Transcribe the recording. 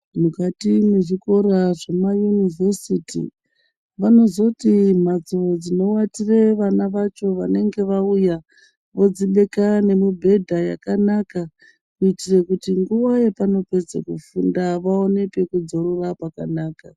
Mukati mwezvikora zvemaunivhesiti vanozoti mhatso dzinowatira vana vacho vanenge vauya vodzibeka nemibhedha kuitira kuti nguva yavanopedza kufunda vaone pekudzororera pakanaka.